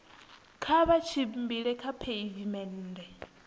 kha vha tshimbile kha pheivimennde